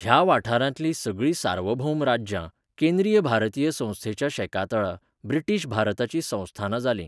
ह्या वाठारांतलीं सगळीं सार्वभौम राज्यां, केंद्रीय भारतीय संस्थेच्या शेकातळा, ब्रिटीश भारताचीं संस्थानां जालीं.